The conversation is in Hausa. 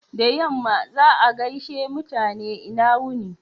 Da yamma, za'a gaishe mutane "lna wuni."